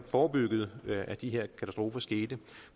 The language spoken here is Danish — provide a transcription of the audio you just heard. forebygge at de her katastrofer skete